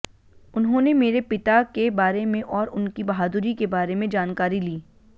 उन्होंने मेरे पिता के बारे में और उनकी बहादुरी के बारे में जानकारी ली